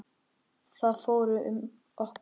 Það fór um okkur.